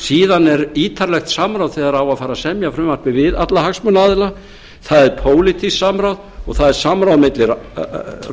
síðan er ítarlegt samráð þegar á að fara að semja frumvarpið við alla hagsmunaaðila það er pólitískt samráð og það er samráð milli